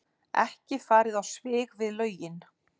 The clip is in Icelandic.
Ekki farið á svig við lögin